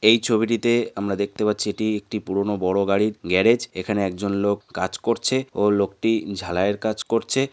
এই ছবিটিতে আমরা দেখতে পাচ্ছি এটি একটি পুরনো বড়ো গাড়ির গ্যারেজ এখানে একজন লোক কাজ করছে ও লোকটি ঝালাইয়ের কাজ করছে।